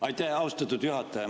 Aitäh, austatud juhataja!